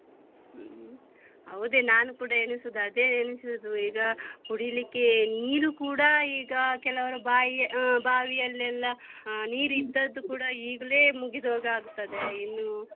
ಹ್ಮ್ ಹೌದೇ ನಾನು ಕೂಡ ಎಣಿಸುದು ಅದೇ ಎಣಿಸುದು ಈಗ ಕುಡಿಲಿಕ್ಕೆ ನೀರು ಕೂಡ ಈಗ ಕೆಲವರ ಬಾವಿ ಹ್ಮ್ ಬಾವಿಯಲ್ಲೆಲ್ಲ ಹ ನೀರು ಇದ್ದದ್ದು ಕೂಡ ಈಗ್ಲೇ ಮುಗಿದು ಹೋಗಿ ಆಗ್ತದೆ ಇನ್ನು.